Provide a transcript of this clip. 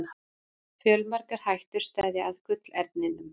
Fjölmargar hættur steðja að gullerninum.